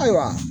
Ayiwa